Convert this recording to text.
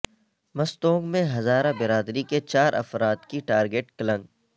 مستونگ میں ہزارہ برادری کے چار افراد کی ٹارگٹ کلنگ